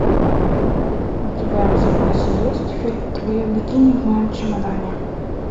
у тебя в запасе есть фильм твое бикини в моем чемодане